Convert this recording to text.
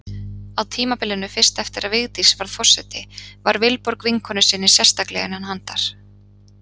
Á tímabilinu fyrst eftir að Vigdís varð forseti var Vilborg vinkonu sinni sérstaklega innan handar.